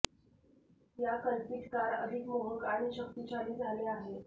या कल्पित कार अधिक मोहक आणि शक्तिशाली झाले आहे